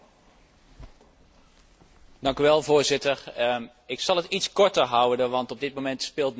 Voorzitter, ik zal het iets korter houden, want op dit moment speelt Nederland nog tegen Uruguay.